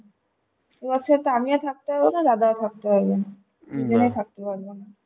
ও আচ্ছা আচ্ছা তো আমিও থাকতে পারবনা দাদাও থাকতে পারবে না তিনজনে থাকতে পারব না